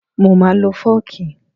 Mo máa lo fọ́ọ̀kì